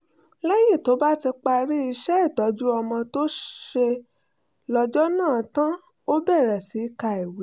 lẹ́yìn tó bá ti parí iṣẹ́ ìtọ́jú ọmọ tó ṣe lọ́jọ́ náà tán ó bẹ̀rẹ̀ sí ka ìwé